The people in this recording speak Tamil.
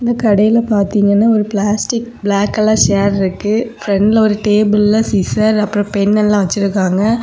இந்த கடையில பாத்தீங்கன்னா ஒரு பிளாஸ்டிக் பிளாக் கலர் ஷேர் இருக்கு பிரெண்ட்ல ஒரு டேபிள்ல சிசர் அப்ரோ பெண் எல்லா வச்சுருக்காங்க.